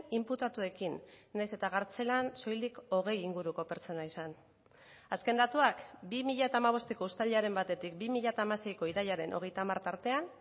inputatuekin nahiz eta kartzelan soilik hogei inguruko pertsona izan azken datuak bi mila hamabosteko uztailaren batetik bi mila hamaseiko irailaren hogeita hamar tartean